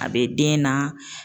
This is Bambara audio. A bɛ den na.